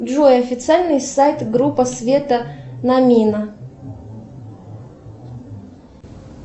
джой официальный сайт группа света намина